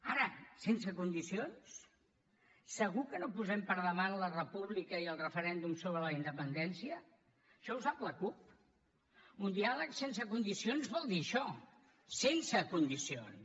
ara sense condicions segur que no posem per davant la república i el referèndum sobre la independència això ho sap la cup un diàleg sense condicions vol dir això sense condicions